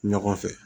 Ɲɔgɔn fɛ